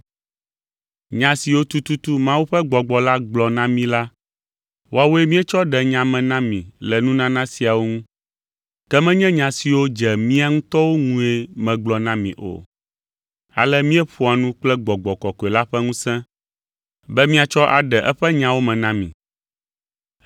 Nya siwo tututu Mawu ƒe Gbɔgbɔ la gblɔ na mí la, woawoe míetsɔ ɖe nya me na mi le nunana siawo ŋu, ke menye nya siwo dze mía ŋutɔwo ŋue megblɔ na mi o. Ale míeƒoa nu kple Gbɔgbɔ Kɔkɔe la ƒe ŋusẽ be míatsɔ aɖe eƒe nyawo me na mi.